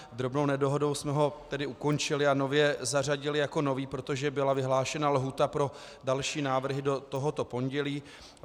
Drobnou nedohodou jsme ho tedy ukončili a nově zařadili jako nový, protože byla vyhlášena lhůta pro další návrhy do tohoto pondělí.